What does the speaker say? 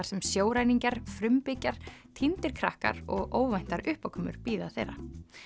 sem sjóræningjar frumbyggjar týndir krakkar og óvæntar uppákomur bíða þeirra